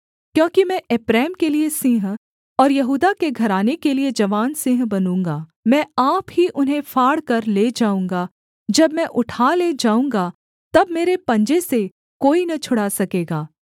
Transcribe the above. क्योंकि मैं एप्रैम के लिये सिंह और यहूदा के घराने के लिये जवान सिंह बनूँगा मैं आप ही उन्हें फाड़कर ले जाऊँगा जब मैं उठा ले जाऊँगा तब मेरे पंजे से कोई न छुड़ा सकेगा